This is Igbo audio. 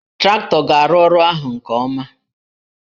Traktọ ga-arụ ọrụ ahụ nke ọma